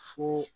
Fue